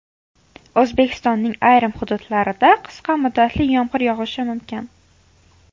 O‘zbekistonning ayrim hududlarida qisqa muddatli yomg‘ir yog‘ishi mumkin.